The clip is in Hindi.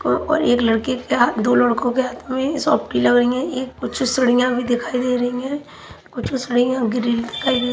और और एक लड़के के हाथ दो लड़कों के हाथ में सौफ्टी लगइ है एक कुछ सड़ियां भी दिखाई दे रही है कुछ सड़ियां ग्रीन कलर --